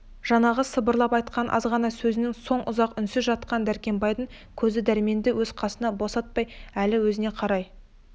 жаңағы сыбырлап айтқан азғана сөзінен соң ұзақ үнсіз жатқан дәркембайдың көзі дәрменді өз қасынан босатпай әлі өзіне қарай